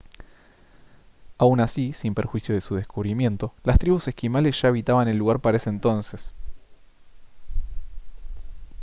aun así sin perjuicio de su descubrimiento las tribus esquimales ya habitaban el lugar para ese entonces